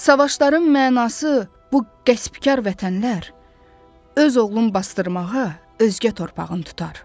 Savaşların mənası bu qəsbkar vətənlər öz oğlun basdırmağa özgə torpağın tutar.